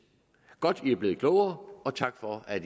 godt at man er blevet klogere og tak for at